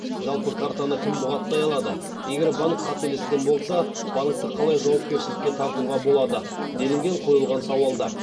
жалпы картаны кім бұғаттай алады егер банк қателескен болса банкті қалай жауапкершілікке тартуға болады делінген қойылған сауалда